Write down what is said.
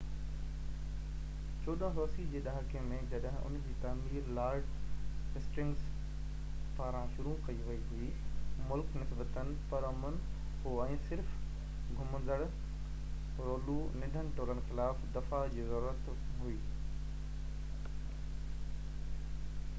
1480 جي ڏهاڪي ۾ جڏهن ان جي تعمير لارڊ هسٽنگس پاران شروع ڪئي وئي هئي مُلڪ نسبتاً پرامن هو ۽ صرف گھومندڙ رولو ننڍن ٽولن خلاف دفاع جي ضرورت هئي